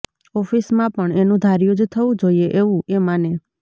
ઓફિસમાં પણ એનું ધાર્યું જ થવું જોઈએ એવું એ માને